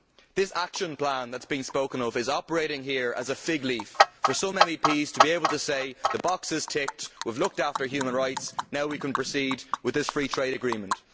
This action plan that has been spoken of is operating here as a fig leaf for some MEPs to be able to say that the box is ticked, we have looked after human rights, now we can proceed with this Free Trade Agreement.